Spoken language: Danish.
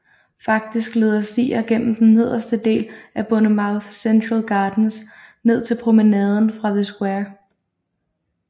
Faktisk leder stier gennem den nederste del af Bournemouth Central Gardens ned til Promenaden fra The square